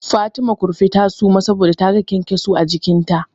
Fatima Kurfi ta suma saboda taga kyankyaso a jikinta.